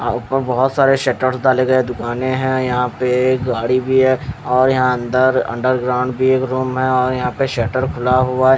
ऊपर बोहोत सारे शटर डाले गए है दुकाने है यहाँ पे गाड़ी भी है और यहाँ अंदर अंडरग्राउंड भी एक रूम है और यहाँ पे शटर खुला हुआ है--